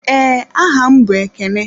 Ee, aha m bụ Ekene.